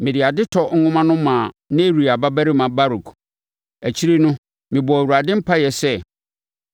“Mede adetɔ nwoma no maa Neria babarima Baruk. Akyire no, mebɔɔ Awurade mpaeɛ sɛ,